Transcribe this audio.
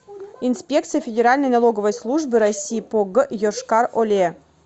инспекция федеральной налоговой службы россии по г йошкар оле